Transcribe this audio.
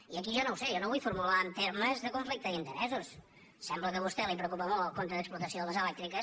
i aquí jo no ho sé jo no vull formular en termes de conflicte d’interessos sembla que a vostè el preocupa molt el compte d’explotació de les elèctriques